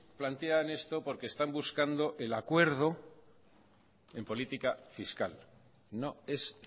plantean esto porque están buscando el acuerdo en política fiscal no es